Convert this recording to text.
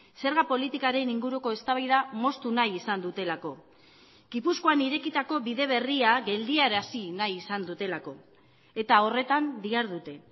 zerga politikaren inguruko eztabaida moztu nahi izan dutelako gipuzkoan irekitako bide berria geldiarazi nahi izan dutelako eta horretan dihardute